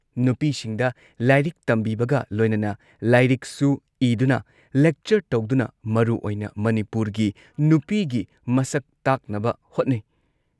ꯅꯨꯄꯤꯁꯤꯡꯗ ꯂꯥꯏꯔꯤꯛ ꯇꯝꯕꯤꯕꯒ ꯂꯣꯏꯅꯅ, ꯂꯥꯏꯔꯤꯛꯁꯨ ꯏꯗꯨꯅ, ꯂꯦꯛꯆꯔ ꯇꯧꯗꯨꯅ ꯃꯔꯨ ꯑꯣꯢꯅ ꯃꯅꯤꯄꯨꯔꯒꯤ ꯅꯨꯄꯤꯒꯤ ꯃꯁꯛ ꯇꯥꯛꯅꯕ ꯍꯣꯠꯅꯩ ꯫